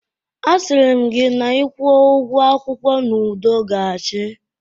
Asịrị m gị na ị kwuo ugwo akwụkwọ n'udo ga-achị